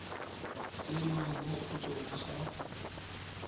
tsenngwang mo go tsona ga